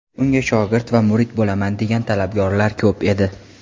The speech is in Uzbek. Unga shogird va murid bo‘laman degan talabgorlar ko‘p edi.